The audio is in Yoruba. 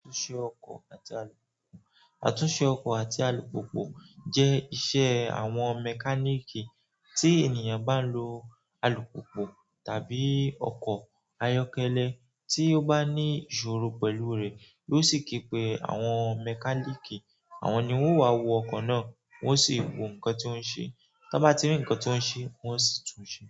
Àtúnṣe ọkọ̀ àti alùpùpù, àtúnṣe ọkọ̀ àti alùpùpù jẹ́ iṣẹ́ àwọn mẹkáníìkì, tí ènìyàn bá lo alùpùpù tàbí ọkọ̀ ayọ́kẹ́lẹ́ tí ó bá ní ìṣòro pẹ̀lú rẹ̀, yóò sì kí pé àwọn mẹkáníkì, àwọn ni wọ́n á wo ọkọ̀ náà, wọ́n sì wo nǹkan tí ó ń ṣe. Tí wọ́n bá ti rí nǹkan tí ó ń ṣe, wọ́n sì tún ṣe.